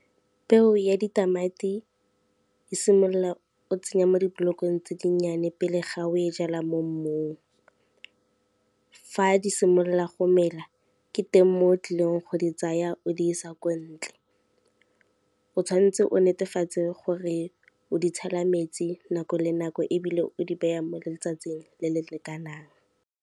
Peo ya ditamati, e simolola o tsenya mo di-block-ong tse di nnyane pele ga o e jala mo mmung. Fa di simolola go mela ke teng mo o tlileng go di tsaya o di sa ko ntle, o tshwanetse o netefatse gore o di tshela metsi nako le nako ebile o di beya mo letsatsing le le lekanang.